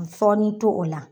N fɔɔni to o la